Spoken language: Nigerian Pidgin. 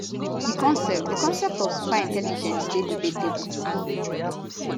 di concept di concept of super intelligence dey debatable